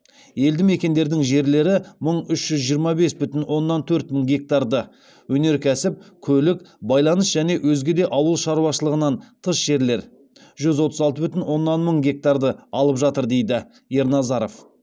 елді мекендердің жерлері мың үш жүз жиырма бес бүтін оннан төрт мың гектарды өнеркәсіп көлік байланыс және өзге де ауыл шаруашылығынан тыс жерлер жүз отыз алты бүтін оннан мың гектарды алып жатыр дейді ерназаров